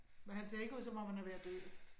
Men han ser ikke ud som om han er ved at dø